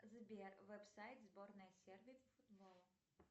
сбер веб сайт сборная сербии по футболу